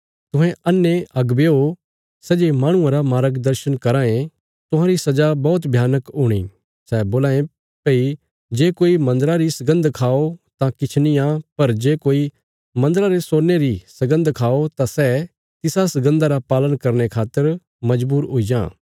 तुहें अन्हे अगुवेयो सै जे माहणुआं रा मार्गदर्शन कराँ ये तुहांरी सजा बौहत भयानक हूणी सै बोलां ये भई जे कोई मन्दरा री सगन्द खाओ तां किछ निआं पर जे कोई मन्दरा रे सोने री सगन्द खाओ तां सै तिसा सगन्दा रा पालन करने खातर मजबूर हुई जां